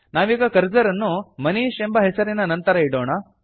ನಾವೀಗ ಕರ್ಸರ್ ಅನ್ನು ಮನೀಶ್ ಎಂಬ ಹೆಸರಿನ ನಂತರ ಇಡೋಣ